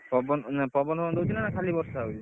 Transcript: ପବନ ଫବନ ଦଉଛି ନା ଖାଲି ବର୍ଷା ହଉଛି